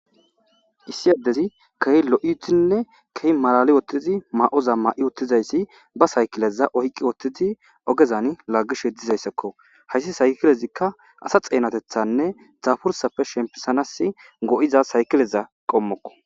Issi adezi kehi lo'idinne kehi malali utidi mayoza mayi utizaysi ba sakileza oyki utidi ogezan lagishe dizaysako haysi sakilezika asa xenatethanne daburasape shepisanas go'iza sakileza qommoko